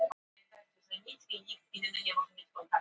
Vetur konungur stöðvar kylfinga